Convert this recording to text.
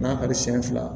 N'a ka di senɲɛ fila